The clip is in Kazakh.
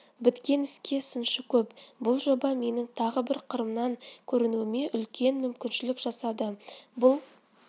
біткен іске сыншы көп бұл жоба менің тағы бір қырымнан көрінуіме үлкен мүмкіншілік жасады бұл